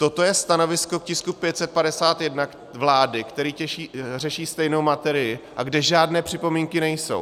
Toto je stanovisko k tisku 551 vlády, který řeší stejnou materii a kde žádné připomínky nejsou.